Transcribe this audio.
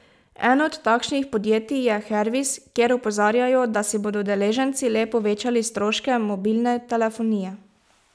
Eno od takšnih podjetij je Hervis, kjer opozarjajo, da si bodo udeleženci le povečali stroške mobilne telefonije.